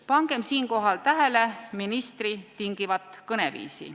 Pangem siinkohal tähele ministri kasutatud tingivat kõneviisi.